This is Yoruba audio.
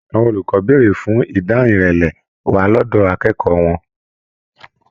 Àwọn olùkọ bèrè fún ìdáhùn ìrẹlẹ wà lọdọ akẹ́kọ̀ọ́ wọn.